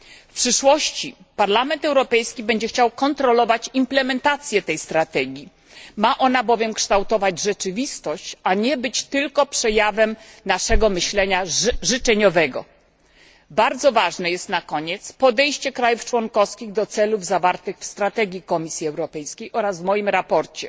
W przyszłości Parlament Europejski będzie chciał kontrolować implementację tej strategii Ma ona bowiem kształtować rzeczywistość, a nie być tylko przejawem naszego życzeniowego myślenia. Na koniec, bardzo ważne jest podejście państw członkowskich do celów zawartych w strategii Komisji Europejskiej oraz w moim sprawozdaniu.